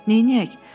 Neynəyək?